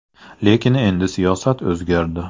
Lekin endi siyosat o‘zgardi”.